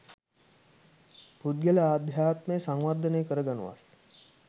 පුද්ගල අධ්‍යාත්මය සංවර්ධනය කරගනු වස්